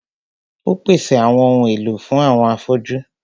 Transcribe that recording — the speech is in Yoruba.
Ó pèsè àwọn ohun èlò fún àwọn afọ́jú.